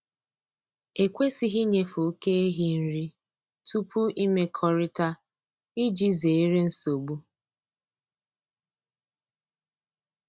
E kwesịghị ịnyefe oke ehi nri tupu imrkọrịta iji zere nsogbu.